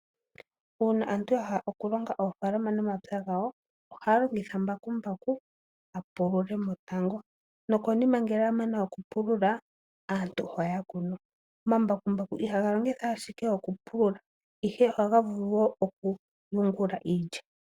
Uuna aantu ya hala oku longa oofalama nomapya gawo ohaya longitha mbakumbaku apulule mo natango nokonima ngele amana oku pulula aantu ohaya kunu. Omambakumbaku ihaga longithwa ashike oku pulula ihe ohaga vulu wo okulungula iilya.